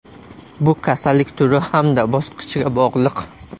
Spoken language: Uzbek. Bu kasallik turi hamda bosqichiga bog‘liq.